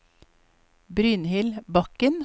Brynhild Bakken